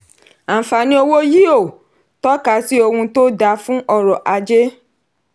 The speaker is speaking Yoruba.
àǹfààní owó yíò tọ́ka sí ohun tó dá fún ọrọ̀ ajé.